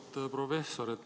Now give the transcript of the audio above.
Auväärt professor!